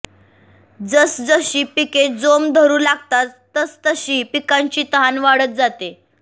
जसजशी पिके जोम धरू लागतात तसतशी पिकांची तहान वाढत जाते